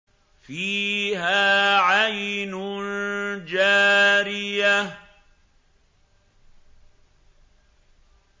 فِيهَا عَيْنٌ جَارِيَةٌ